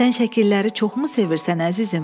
Sən şəkilləri çoxmu sevirsən əzizim?